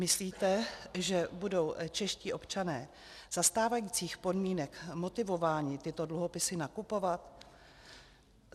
Myslíte, že budou čeští občané za stávajících podmínek motivováni tyto dluhopisy nakupovat?